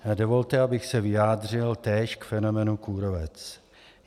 Dovolte, abych se vyjádřil též k fenoménu kůrovec.